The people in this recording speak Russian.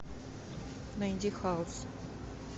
найди хаос